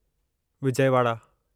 Vijayawada